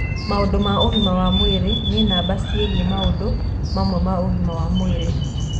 maũndũ ma ũgima wa mwĩrĩ nĩ namba ciĩgie maundũ mamwe ma ũgima wa mwĩrĩ.